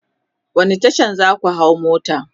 wani Tasha zaka hau mota?